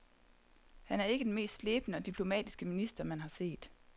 Han er ikke den mest slebne og diplomatiske minister, man har set.